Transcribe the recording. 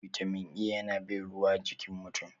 Bitamin A yana bin ruwa jikin mutum.